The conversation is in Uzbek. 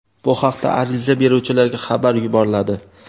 Bu haqda ariza beruvchilarga xabar yuboriladi.